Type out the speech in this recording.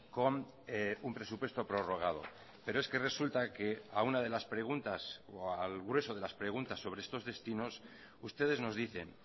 con un presupuesto prorrogado pero es que resulta que a una de las preguntas o al grueso de las preguntas sobre estos destinos ustedes nos dicen